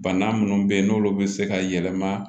Bana minnu bɛ yen n'olu bɛ se ka yɛlɛma